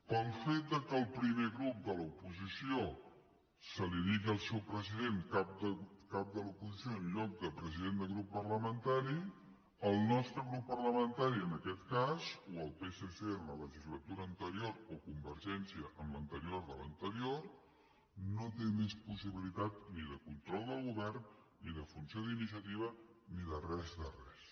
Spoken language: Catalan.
pel fet que en el primer grup de l’oposició se’n digui del seu president cap de l’oposició en lloc de president de grup parlamentari el nostre grup parlamentari en aquest cas o el psc en la legislatura anterior o convergència en l’anterior de l’anterior no té més possibilitat ni de control del govern ni de funció d’iniciativa ni de res de res